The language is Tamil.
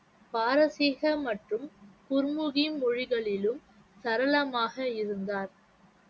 பாரசீக மற்றும் குர்முகி மொழிகளிலும் சரளமாக இருந்தார்